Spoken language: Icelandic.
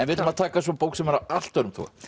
við ætlum að taka bók sem er af allt öðrum toga